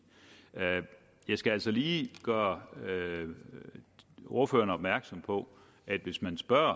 jeg skal altså lige gøre ordføreren opmærksom på at hvis man spørger